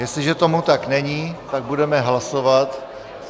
Jestliže tomu tak není, tak budeme hlasovat.